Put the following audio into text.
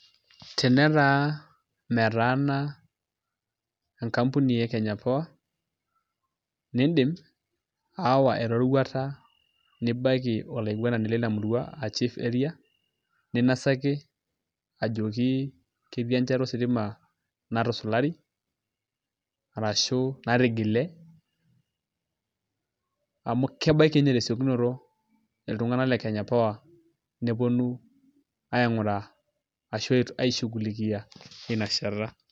Tenetaa metaana enkampuni e Kenya Power, nidim aawa eroruata nibaiki olaiguanani lina murua ah chief area, ninasaki ajoki ketii enchata ositima natusulari, arashu natigile, amu kebaiki nye tesiokinoto iltung'anak le Kenya Power, neponu aing'uraa ashu ai shughulikia, inashata.